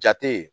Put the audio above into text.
Jate ye